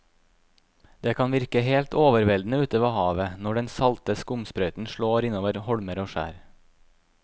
Det kan virke helt overveldende ute ved havet når den salte skumsprøyten slår innover holmer og skjær.